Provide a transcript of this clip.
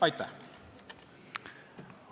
Aitäh!